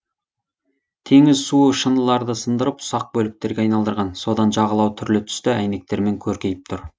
теңіз суы шыныларды сындарып ұсақ бөліктерге айналдырған содан жағалау түрлі түсті әйнектермен көркейіп тұр